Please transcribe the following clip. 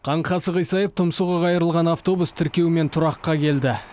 қаңқасы қисайып тұмсығы қайырылған автобус тіркеумен тұраққа келді